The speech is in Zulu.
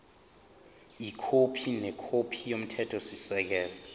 ikhophi nekhophi yomthethosisekelo